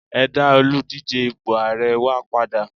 e da Oludije ipo ààrẹ wa pada